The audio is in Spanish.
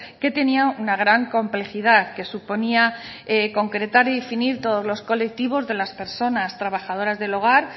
que tenía una gran complejidad que suponía concretar y definir todos los colectivos de las personas trabajadoras del hogar